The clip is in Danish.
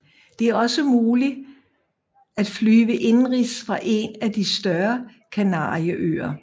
Det er også mulig at flyve indenrigs fra en af de større Kanarieøer